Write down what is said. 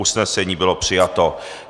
Usnesení bylo přijato.